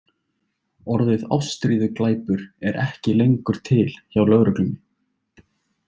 Orðið ástríðuglæpur er ekki lengur til hjá lögreglunni.